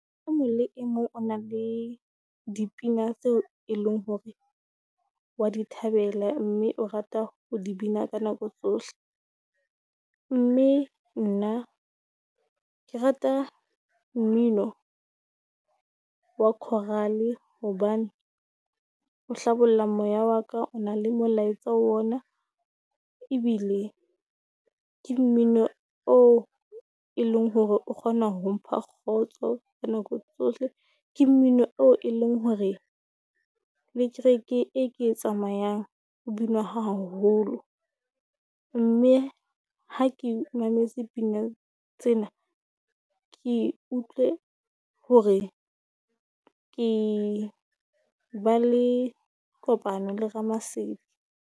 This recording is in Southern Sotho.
O mong le e mong o na le dipina tseo e leng hore wa di thabela, mme o rata ho di bina ka nako tsohle. Mme nna ke rata mmino wa coral-e hobane o hlabolla moya wa ka, o na le molaetsa wona ebile ke mmino oo e leng hore o kgona ho mpha kgotso ka nako tsohle. Ke mmino eo e leng hore le kereke e ke e tsamayang ho binwa ha haholo, mme ha ke mametse pina tsena, ke utlwe hore ke ba le kopano le Ramasedi.